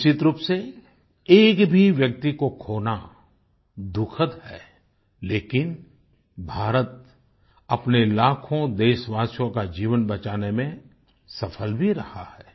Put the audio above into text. निश्चित रूप से एक भी व्यक्ति को खोना दुखद है लेकिन भारत अपने लाखों देशवासियों का जीवन बचाने में सफल भी रहा है